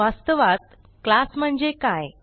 वास्तवात क्लास म्हणजे काय